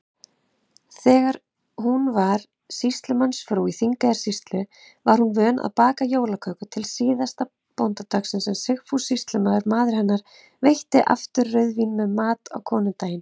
Þegar hún var sýslumannsfrú í Þingeyjarsýslu, var hún vön að baka jólaköku til bóndadagsins, en Sigfús sýslumaður, maður hennar, veitti aftur rauðvín með mat konudaginn.